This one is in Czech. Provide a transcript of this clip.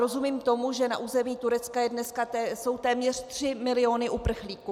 Rozumím tomu, že na území Turecka jsou dneska téměř 3 miliony uprchlíků.